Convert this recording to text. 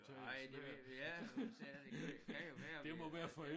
Nej det ved vi ja sagde du ved kan jo være vi øh